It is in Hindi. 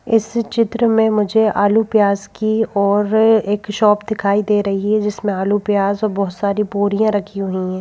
इस चित्र में मुझे आलू प्याज की और एक शॉप दिखाई दे रही है जिसमें आलू प्याज और बहोत सारी बोरियां रखी हुई हैं।